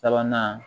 Sabanan